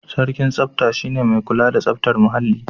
Sarkin tsafta shi ne mai kula da tsaftar muhalli.